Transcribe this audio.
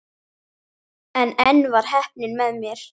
En enn var heppnin með mér.